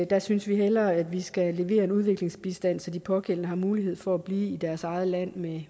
der synes vi hellere vi skal lave udviklingsbistand så de pågældende har mulighed for at blive i deres eget land